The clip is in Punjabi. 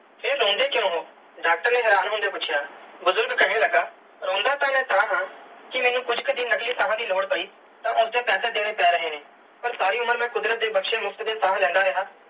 ਫਿਰ ਰੋਂਦੇ ਕ੍ਯੂਂ ਹੋ ਡਾਕਟਰ ਨੇ ਹੈਰਾਨ ਹੋਂਦਿਆ ਪੂਛਿਆ ਬੁਜ਼ਰਗ ਕੇਹਨ ਲਗਾ ਰੋਂਦਾ ਤੇ ਮੈਂ ਤਹਾ ਕੇ ਮੈਨੂੰ ਕੁਛ ਕਿ ਦਿਨ ਨਕਲੀ ਸਾਹ ਦੀ ਲੋੜ ਪੈ ਤੇ ਮੈਨੂੰ ਉਸਦੇ ਪੈਸੇ ਦੇਣੇ ਪੈ ਰਹੇ ਨੇ ਪਾਰ ਸਾਰੀ ਉਮਰ ਮੈਂ ਕੁਦਰਤ ਦੀ ਬਖਸ਼ੀ ਮੁਫ਼ਤ ਦੀਆ ਸਾਹ ਲੈਂਦਾ ਰਿਆ.